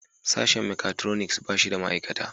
Sashen mekatroniks ba shi da ma'aikata